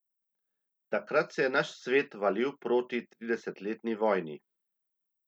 Takrat se je naš svet valil proti tridesetletni vojni.